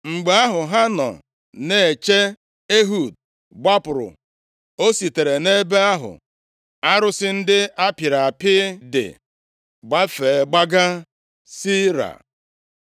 Mgbe ahụ ha nọ na-eche, Ehud gbapụrụ. O sitere nʼebe ahụ arụsị ndị ahụ a pịrị apị dị gbafee, gbaga Seira.